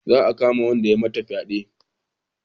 Za a kama wanda ya mata fyade